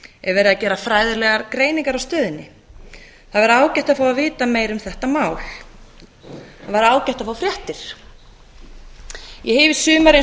er verið að gera fræðilegar greiningar á stöðunni það væri ágætt að fá að vita meira um þetta mál það væri ágætt að fá fréttir ég hef í sumar eins